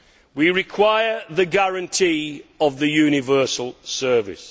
We require the guarantee of a universal service.